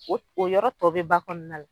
O o yɔrɔ tɔ be ba kɔɔna la